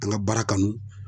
An ka baara kanu.